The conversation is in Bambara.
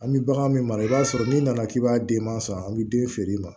An bɛ bagan min mara i b'a sɔrɔ n'i nana k'i b'a denman sɔrɔ an bɛ den feere ma